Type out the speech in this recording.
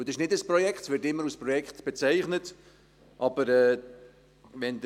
Es ist kein Projekt, auch wenn es immer als Projekt bezeichnet wird.